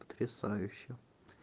потрясающе